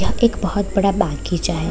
यह एक बहुत बड़ा बागीचा है |